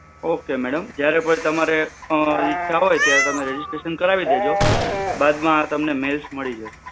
Okay madam. જયારે પણ તમારે અ ઈચ્છા હોય, ત્યારે તમે registration કરાવી દેજો, બાદમાં તમને mails મળી જશે.